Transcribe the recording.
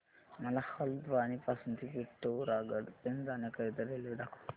मला हलद्वानी पासून ते पिठोरागढ पर्यंत जाण्या करीता रेल्वे दाखवा